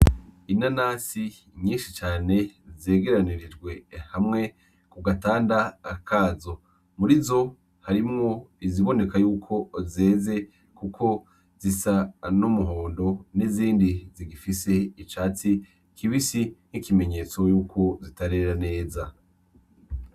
Inanansi nyinshi cane zegeranirijwe hamwe ku gatanda kazo muri zo harimwo iziboneka yuko zeze, kuko zisa numuhondo n'izindi zigifise icatsi kibisi nk'ikimenyetso yuko zitarera neza.